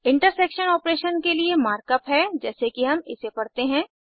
intersection operation के लिए mark up है जैसे कि हम इसे पड़ते हैं